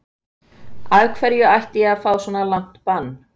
Af hverju ætti ég að fá langt bann?